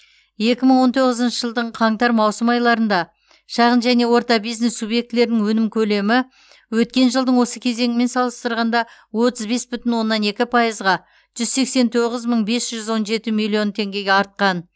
екі мың он тоғызыншы жылдың қаңтар маусым айларында шағын және орта бизнес субъектілерінің өнім көлемі өткен жылдың осы кезеңімен салыстырғанда отыз бес бүтін оннан екі пайызға жүз сексен тоғыз мың бес жүз он жеті миллион теңгеге артқан